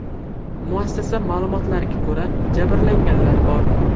Muassasa ma’lumotlariga ko‘ra, jabrlanganlar bor.